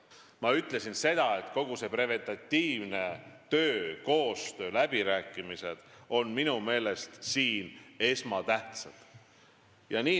Ma ütlesin seda, et kogu see preventiivne töö, koostöö ja läbirääkimised on minu meelest siin esmatähtsad.